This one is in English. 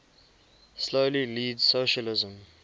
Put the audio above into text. slowly leads socialism